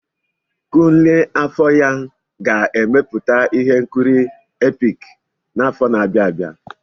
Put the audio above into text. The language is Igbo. Kunle Afolayan ga-emepụta ihe nkiri epik n'afọ na-abịa abịa.